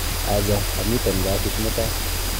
Acha, amiten kasit mutai